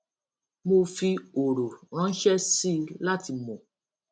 mo fi òrò ránṣẹ sí i láti mò